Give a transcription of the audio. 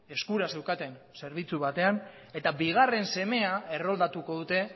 eskura zeukaten zerbitzu batean eta bigarren semea erroldatuko dute